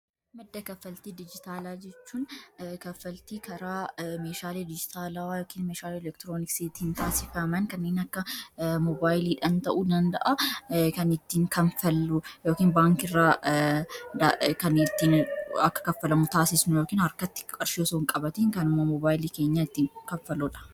Madda kaffaltii dijitaalaa jechuun kaffaltii karaa meeshaalee dijitaalawwa yookiin meeshaalee elektirooniksiitiin taasifaman kanneen akka moobaayiliidhan ta'uu danda'a kan ittiin ''kaffallu'' yookaan baankii irraa kan ittiin akka kaffalamu taasisnu yookiin harkatti qarshii osoo hin qabatiin kanuma moobaayilii keenyaan ittiin ''kaffalluudha''